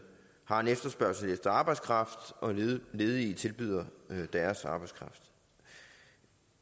har en efterspørgsel efter arbejdskraft og ledige tilbyder deres arbejdskraft